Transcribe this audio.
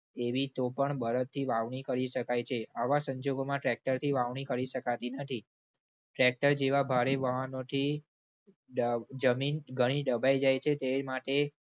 એવી તો પણ બળદથી વાવણી કરી શકાય છે. આવા સંજોગોમાં tractor થી વાવણી કરી શકાતી નથી. Tractor જેવા ભારે વાહનોથી દજમીન ઘણી દબાઈ જાય છે. તે માટે